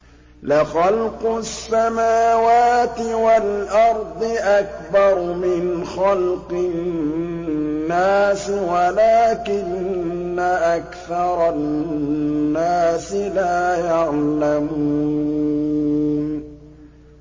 لَخَلْقُ السَّمَاوَاتِ وَالْأَرْضِ أَكْبَرُ مِنْ خَلْقِ النَّاسِ وَلَٰكِنَّ أَكْثَرَ النَّاسِ لَا يَعْلَمُونَ